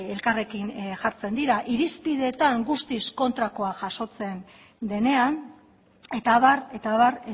elkarrekin jartzen dira irizpideetan guztiz kontrakoa jasotzen denean eta abar eta abar